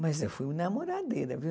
Mas eu fui namoradeira viu.